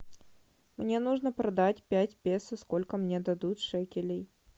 мне нужно продать пять песо сколько мне дадут шекелей